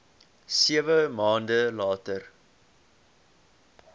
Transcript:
sewe maande later